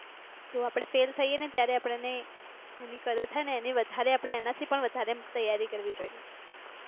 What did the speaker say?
તો આપણે ફેલ થઈએ ત્યારે આપણે તેની કદર થાય ને એની વધારે એનાથી પણ વધારે તૈયારી કરવી જોઈએ.